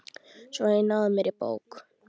Svo að ég náði mér í bók.